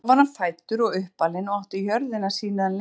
þar var hann fæddur og uppalinn og átti jörðina síðan lengi